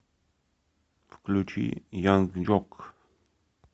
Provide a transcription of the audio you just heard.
включи янг джок